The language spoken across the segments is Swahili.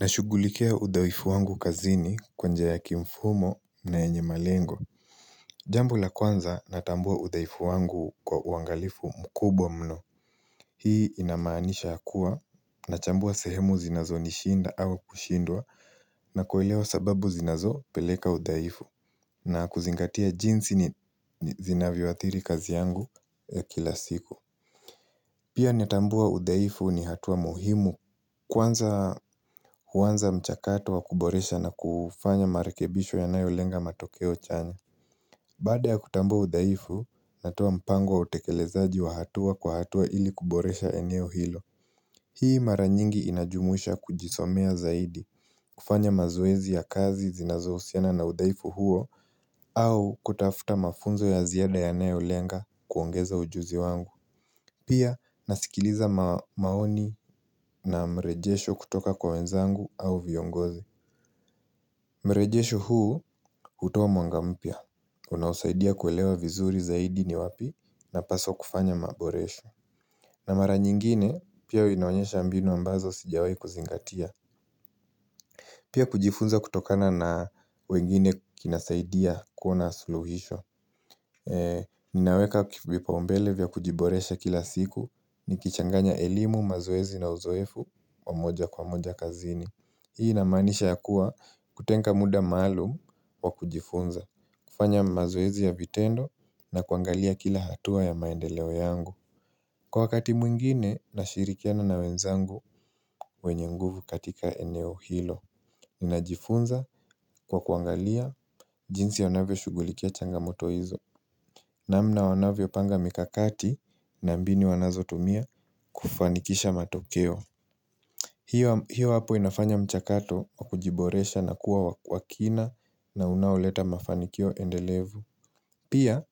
Nashugulikia udhaifu wangu kazini kwa njia ya kimfumo na yenye malengo. Jambo la kwanza natambua udhaifu wangu kwa uangalifu mkubwa mno. Hii inamaanisha kuwa nachambua sehemu zinazonishinda au kushindwa na kuelewa sababu zinazopeleka udhaifu na kuzingatia jinsi ni zinavyoathiri kazi yangu ya kila siku. Pia natambua udhaifu ni hatua muhimu kwanza huanza mchakato wa kuboresha na kufanya marekebisho yanayolenga matokeo chanya. Baada ya kutambua udhaifu, natoa mpango wa utekelezaji wa hatua kwa hatua ili kuboresha eneo hilo. Hii mara nyingi inajumuisha kujisomea zaidi, kufanya mazoezi ya kazi zinazohusiana na udhaifu huo, au kutafuta mafunzo ya ziada yanayolenga kuongeza ujuzi wangu. Pia nasikiliza maoni na mrejesho kutoka kwa wenzangu au viongozi mrejesho huu hutoa mwanga mpya unaosaidia kuelewa vizuri zaidi ni wapi napaswa kufanya maboresho na mara nyingine pia winaonyesha mbinu ambazo sijawahi kuzingatia Pia kujifunza kutokana na wengine kinasaidia kuwa na suluhisho Ninaweka vipaumbele vya kujiboresha kila siku nikichanganya elimu, mazoezi na uzoefu wa moja kwa moja kazini Hii inamanisha ya kuwa kutenga muda maalum wa kujifunza kufanya mazoezi ya vitendo na kuangalia kila hatua ya maendeleo yangu. Kwa wakati mwingine, nashirikiana na wenzangu wenye nguvu katika eneo hilo Ninajifunza kwa kuangalia jinsi anavyoshugulikia changamoto hizo namna wanavyopanga mikakati na mbinu wanazotumia kufanikisha matokeo hiyo hapo inafanya mchakato wa kujiboresha na kuwa wa kina na unaoleta mafanikio endelevu. Pia,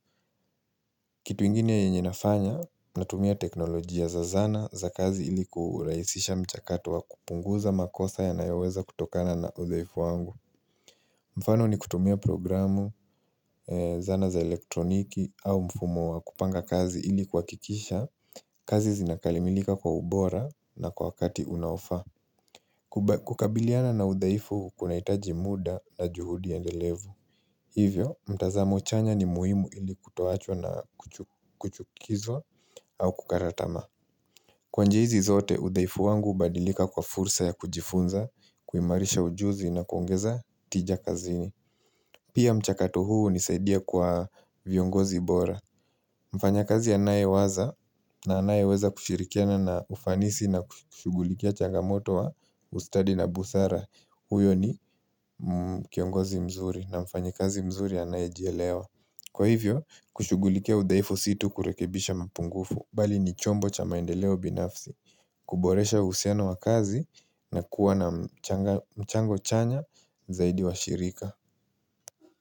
kitu ingine yenye inafanya natumia teknolojia za zana za kazi ili kuuraisisha mchakato wa kupunguza makosa yanayoweza kutokana na udhaifu wangu. Mfano ni kutumia programu zana za elektroniki au mfumo wa kupanga kazi ili kuhakikisha, kazi zinakalimilika kwa ubora na kwa wakati unaofaa. Kukabiliana na udhaifu kunahitaji muda na juhudi endelevu Hivyo mtazamo chanya ni muhimu ili kutoachwa na kuchukizwa au kukara tamaa Kwa njia hizi zote udhaifu wangu hubadilika kwa fursa ya kujifunza kuimarisha ujuzi na kuongeza tija kazini Pia mchakato huu hunisaidia kwa viongozi bora mfanyakazi anayewaza na anayeweza kushirikiana na ufanisi na kushugulikia changamoto wa ustadi na busara huyo ni kiongozi mzuri na mfanyikazi mzuri anaye jelewa. Kwa hivyo, kushugulikia udhaifu si tu kurekebisha mapungufu bali ni chombo cha maendeleo binafsi kuboresha uhusiano wa kazi na kuwa na mchango chanya zaidi wa shirika.